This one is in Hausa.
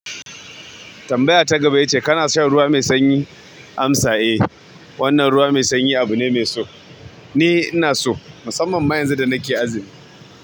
Tambaya ta gaba ita ce kana shan ruwa mai sanyi? Amsa, eh wannan ruwa mai sanyi abu ne mai so. Ni inaso musamman ma yanzu da nake azumi.